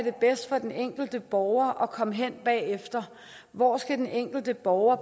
er bedst for den enkelte borger at komme hen bagefter hvor den enkelte borger